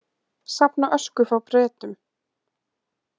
Safna ösku frá Bretum